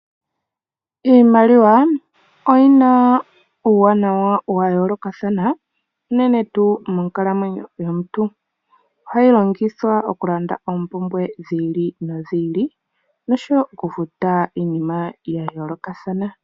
Iimaliwa oyina uuwanawa wayoolokathana unene tuu moonkalamwenyo dhaantu, ohayi longithwa okulanda oompumbwe dhi ili nodhi ili nosho wo okufuta iinima ya yoolokathana.